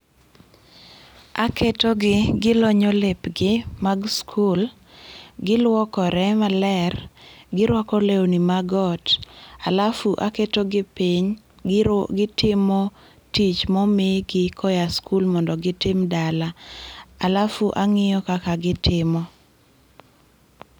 Aketogi, gilonyo lepgi mag skul. Giluokore maler. Girwako lewni mag ot, alafu aketogi piny, gitimo tich momigi koya skul mondo gitim dala alafu ang'iyo kaka gitimo.